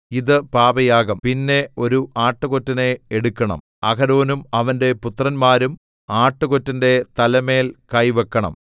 ഇത് പാപയാഗം പിന്നെ ഒരു ആട്ടുകൊറ്റനെ എടുക്കണം അഹരോനും അവന്റെ പുത്രന്മാരും ആട്ടുകൊറ്റന്റെ തലമേൽ കൈവയ്ക്കണം